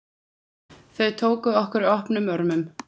Þau tóku okkur opnum örmum.